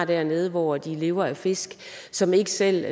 dernede hvor de lever af fisk og som ikke selv